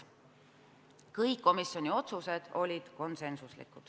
Kõik komisjoni otsused olid konsensuslikud.